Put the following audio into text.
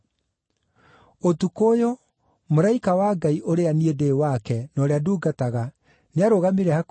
Ũtukũ ũyũ, mũraika wa Ngai ũrĩa niĩ ndĩ wake na ũrĩa ndungataga nĩarũgamire hakuhĩ na niĩ na